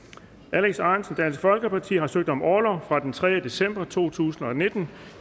alex ahrendtsen har søgt om orlov fra den tredje december to tusind og nitten